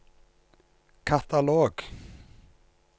katalog